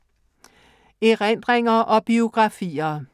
Erindringer og biografier